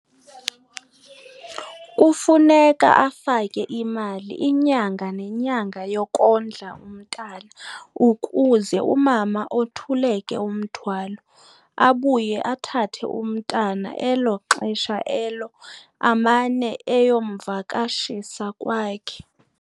Kufuneka afake imali inyanga nenyanga yokondla umntana ukuze umama othuleke umthwalo. Abuye athathe umntana elo xesha elo amane eyomvakashisa kwakhe.